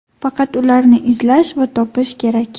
Faqat ularni izlash va topish kerak.